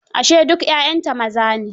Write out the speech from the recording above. Ashe duk 'ya'yanta maza ne?